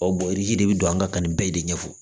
de bɛ don an ka kan nin bɛɛ de ɲɛfɔ